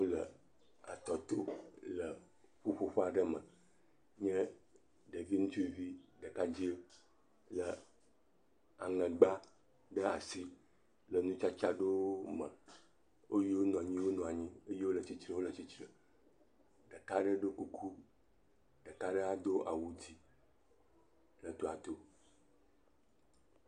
Le etɔ to, le ƒuƒoƒe aɖe me nye ɖevi ŋutsuvi ɖekadzɛ le aŋegba ɖe asi le nutsatsa aɖewo me. Eyiwo nɔ anyi nɔ anyi, eyiwo le tsitre le tsitre. Ɖeka aɖe ɖo kuku eye ɖeka aɖe do awu dzɛ̃ le tɔa to.